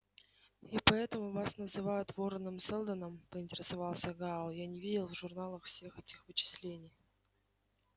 и поэтому вас называют вороном-сэлдоном поинтересовался гаал я не видел в журналах всех этих вычислений